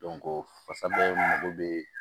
fasabɛ mago bɛ